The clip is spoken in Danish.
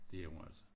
Det er hun altså